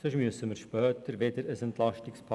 Andernfalls müssen wir später wieder ein EP schnüren.